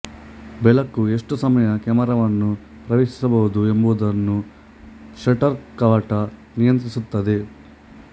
ಬೆಳಕು ಎಷ್ಟು ಸಮಯ ಕ್ಯಾಮರವನ್ನು ಪ್ರವೇಶಿಸಬಹುದು ಎಂಬುದನ್ನು ಷಟ್ಟರ್ ಕವಾಟ ನಿಯಂತ್ರಿಸುತ್ತದೆ